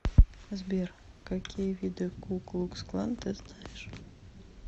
сбер какие виды ку клукс клан ты знаешь